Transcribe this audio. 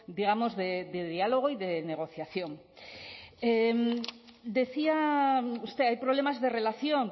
digamos de diálogo y de negociación decía usted hay problemas de relación